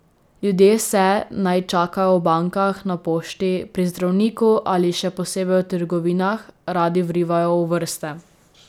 Ljudje se, naj čakajo v bankah, na pošti, pri zdravniku ali in še posebej v trgovinah, radi vrivajo v vrste.